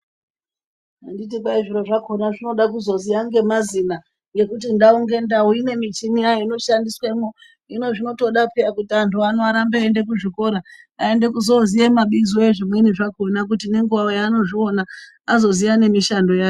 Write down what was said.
Anditi kwai zviro zvakona zvinoda kuzoziya nemazina ngekuti ndau ngendau ine michini yakona inoshandiswamo hino zvinotoda piya kuti vantu vano vaende kuzvikora aende kuzoziya mabizo ezvimweni zvakona kuti ngenguwa yanozviona azoziya nemishando yayo.